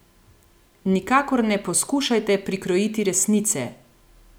Nikakor ne poskušajte prikrojiti resnice!